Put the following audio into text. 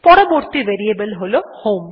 পরবর্তী ভেরিয়েবল হল হোম